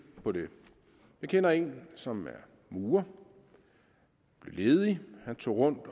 på det jeg kender en som er murer blev ledig han tog rundt